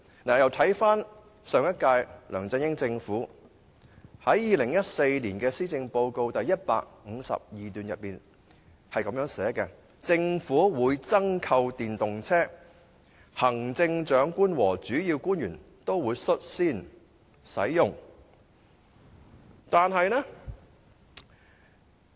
至於上屆的梁振英政府，亦曾在2014年施政報告第152段表示，政府會增購電動車，行政長官和主要官員會率先試用。